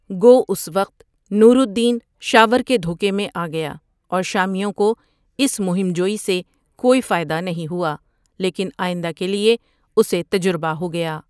گو اس وقت Nur Uddin Shawar کے دھوکے میں آگیا اور شامیوں کو اس مہم جوئی سے کوئی فائدہ نہیں ہوا لیکن ٓآئندہ کے لیے اسے تجربہ ہو گیا ۔